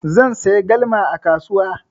Zan saya galma a kasuwa.